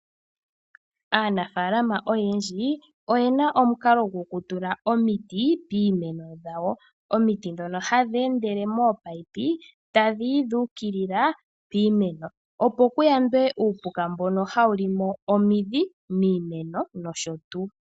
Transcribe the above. Aanafalama oyendji oyena omukalo gokutula omiti piimeno yawo omiti dhono hadhendele mominino tadhiyi dhukilila piimeno opo kuyandwe uupuka mbono hawu limo omidhi miimeno noshotu.